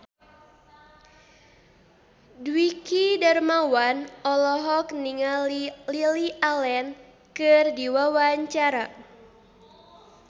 Dwiki Darmawan olohok ningali Lily Allen keur diwawancara